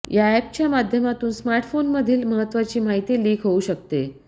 या ऍपच्या माध्यमातून स्मार्टफोनमधील महत्वाची माहिती लीक होऊ शकते